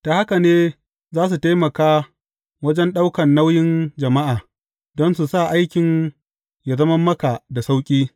Ta haka ne za su taimaka wajen ɗaukan nauyin jama’a, don su sa aikin yă zama maka da sauƙi.